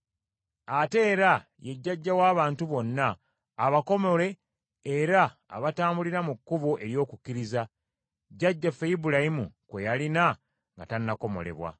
Ate era ye jjajja w’abantu bonna, abakomole, era abatambulira mu kkubo ery’okukkiriza, jjajjaffe Ibulayimu kwe yalina nga tannakomolebwa.